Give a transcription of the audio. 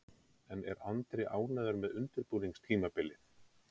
En er Andri ánægður með undirbúningstímabilið?